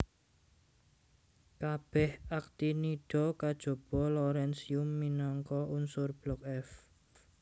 Kabèh aktinida kajaba lawrensium minangka unsur blok f